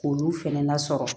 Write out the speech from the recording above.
K'olu fɛnɛ lasɔrɔ